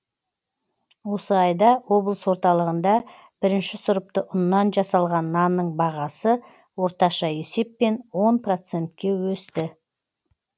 осы айда облыс орталығында бірінші сұрыпты ұннан жасалған нанның бағасы орташа есеппен он процентке өсті